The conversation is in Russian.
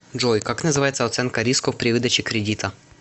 джой как называется оценка рисков при выдаче кредита